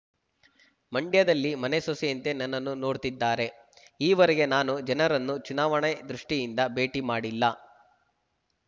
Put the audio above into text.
ಮಂಡ್ಯದಲ್ಲಿ ಮನೆ ಸೊಸೆಯಂತೆ ನನ್ನನ್ನು ನೋಡ್ತಿದ್ದಾರೆ ಈವರೆಗೆ ನಾನು ಜನರನ್ನು ಚುನಾವಣೆ ದೃಷ್ಠಿಯಿಂದ ಭೇಟಿ ಮಾಡಿಲ್ಲ